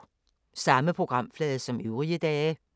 Samme programflade som øvrige dage